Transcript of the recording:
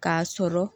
K'a sɔrɔ